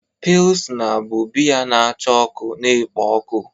Pilsna bụ biya na-acha ọkụ na-ekpo ọkụ.